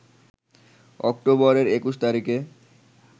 অক্টোবরের ২১ তারিখে